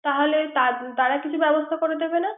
তাহলে তারা কিছু ব্যবস্থা করে দিবে না